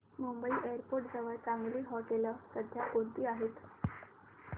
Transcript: Mumbai airport जवळ चांगली हॉटेलं सध्या कोणती आहेत